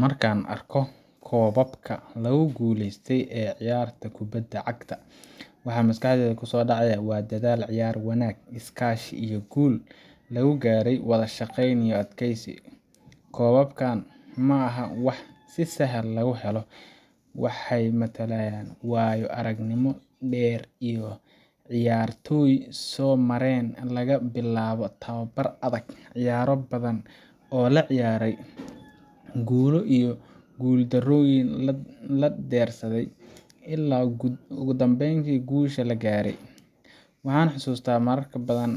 Marka aan arko koobabka lagu guuleystay ee ciyaaraha kubadda cagta, waxa maskaxdayda ku soo dhacaya waa dadaal, ciyaar wanaag, iskaashi, iyo guul lagu gaaray wadashaqeyn iyo adkeysi. Koobabkan maaha wax si sahal ah lagu helo waxay matalaan waayo-aragnimo dheer oo ciyaartoydu soo mareen, laga bilaabo tababar adag, ciyaaro badan oo la ciyaaray, guulo iyo guuldarrooyin la dersay, ilaa ugu dambayn guusha la gaaray. Waxaan xasuustaa marar badan